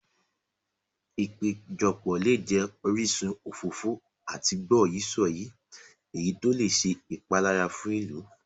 Ìpéjọpọ̀ lè jẹ orísun òfófó àti gbọ́yìí-sọ̀yìí, èyí tó lè ṣe ìpalára fún ìlú.